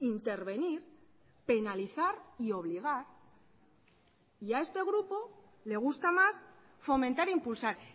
intervenir penalizar y obligar y a este grupo le gusta más fomentar e impulsar